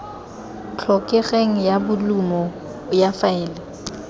tlhokegeng ya bolumo ya faele